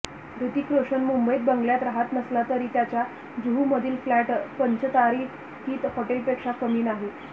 हृतिक रोशन मुंबईत बंगल्यात रहात नसला तरी त्याचा जुहूमधील फ्लॅट पंचतारांकित हॉटेलपेक्षा कमी नाही